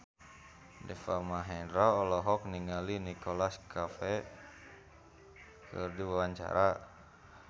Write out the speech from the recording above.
Deva Mahendra olohok ningali Nicholas Cafe keur diwawancara